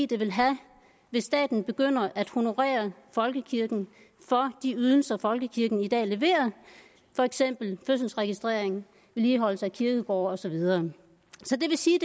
det ville have hvis staten begyndte at honorere folkekirken for de ydelser som folkekirken i dag leverer for eksempel fødselsregistrering vedligeholdelse af kirkegårde og så videre så det vil sige